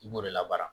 I b'o de la baara